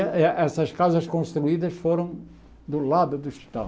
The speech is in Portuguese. Eh eh essas casas construídas foram do lado do hospital.